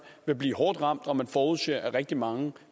vil blive hårdt ramt og man forudser at rigtig mange